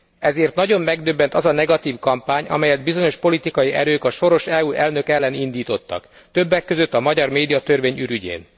Ezért nagyon megdöbbent az a negatív kampány, amelyet bizonyos politikai erők a soros EU elnök ellen indítottak, többek között a magyar médiatörvény ürügyén.